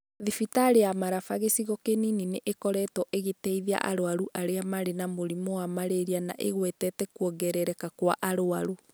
Thibitari ya Maraba gĩcigo kĩnini nĩ ĩkoretwo ĩgĩteithia arwaru arĩa marĩ na mũrimũ wa malaria na ĩgwetete kwongerereka kwa arwaru.